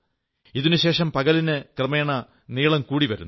ഇതിനുശേഷം പകലിന് ക്രമേണ നീളം കൂടി വരുന്നു